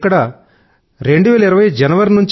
ఇక్కడ జనవరి